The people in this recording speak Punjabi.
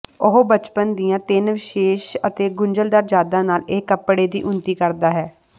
ਉਹ ਬਚਪਨ ਦੀਆਂ ਤਿੰਨ ਵਿਸ਼ੇਸ਼ ਅਤੇ ਗੁੰਝਲਦਾਰ ਯਾਦਾਂ ਨਾਲ ਇਹ ਕਪੜੇ ਦੀ ਉੱਨਤੀ ਕਰਦਾ ਹੈ